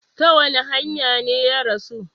Ta wani hanya ne ya rasu?